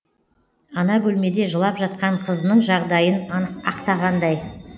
ана бөлмеде жылап жатқан қызының жағдайын ақтағандай